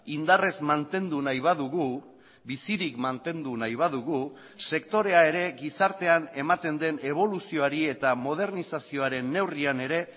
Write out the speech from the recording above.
indarrez mantendu nahi badugu bizirik mantendu nahi badugu sektorea ere gizartean ematen den eboluzioari eta modernizazioaren neurrian ere